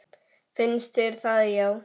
Finnst þér það já.